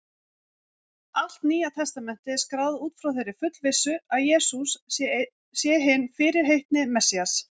Allt Nýja testamentið er skráð út frá þeirri fullvissu, að Jesús sé hinn fyrirheitni Messías.